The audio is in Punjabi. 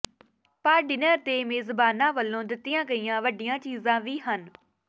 ਪਰ ਡਿਨਰ ਦੇ ਮੇਜ਼ਬਾਨਾਂ ਵੱਲੋਂ ਦਿੱਤੀਆਂ ਗਈਆਂ ਵੱਡੀਆਂ ਚੀਜ਼ਾਂ ਵੀ ਹਨ